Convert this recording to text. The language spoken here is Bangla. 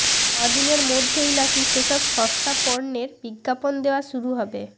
ক দিনের মধ্যেই নাকি সেসব সস্তা পণ্যের বিজ্ঞাপন দেওয়া শুরু হবে